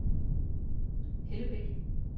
Hellebæk